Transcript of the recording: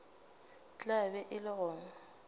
tla be e le go